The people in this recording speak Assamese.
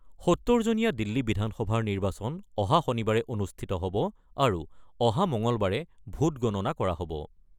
৭০ জনীয়া দিল্লী বিধানসভাৰ নিৰ্বাচন অহা শনিবাৰে অনুষ্ঠিত হ'ব আৰু অহা মঙলবাৰে ভোট গণনা কৰা হ'ব।